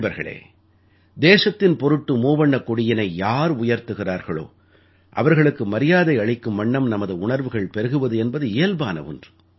நண்பர்களே தேசத்தின் பொருட்டு மூவண்ணக் கொடியினை யார் உயர்த்துகிறார்களோ அவர்களுக்கு மரியாதை அளிக்கும் வண்ணம் நமது உணர்வுகள் பெருகுவது என்பது இயல்பான ஒன்று